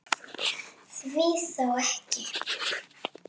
Því þá ekki?